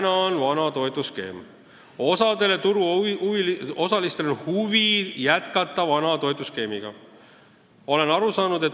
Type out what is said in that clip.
Praegu on vana toetusskeem ja osal turuosalistel on huvi jätkata vana toetusskeemiga.